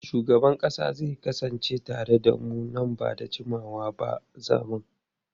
Shugaban kasa zai kasance tare da mu nan ba da jimawa ba a zaman.